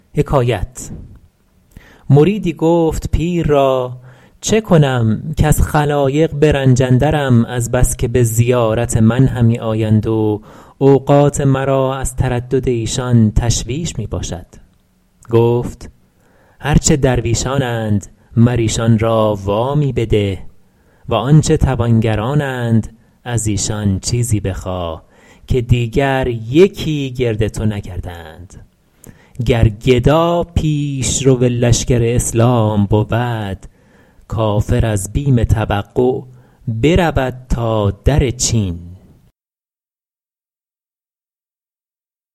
مریدی گفت پیر را چه کنم کز خلایق به رنج اندرم از بس که به زیارت من همی آیند و اوقات مرا از تردد ایشان تشویش می باشد گفت هر چه درویشانند مر ایشان را وامی بده و آنچه توانگرانند از ایشان چیزی بخواه که دیگر یکی گرد تو نگردند گر گدا پیشرو لشکر اسلام بود کافر از بیم توقع برود تا در چین